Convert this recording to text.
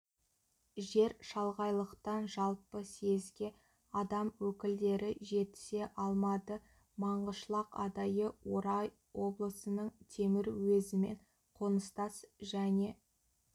жер шалғайлықтан жалпы съезге адам өкілдері жетісе алмады маңғышлақ адайы орал облысының темір уезімен қоныстас және